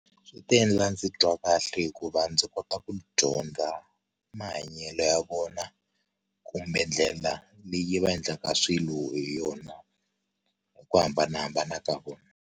Swi ta endla ndzi twa kahle hikuva ndzi kota ku dyondza mahanyelo ya vona kumbe ndlela leyi va endlaka swilo hi yona hi ku hambanahambana ka vona.